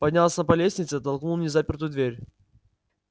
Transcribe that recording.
поднялся по лестнице толкнул незапертую дверь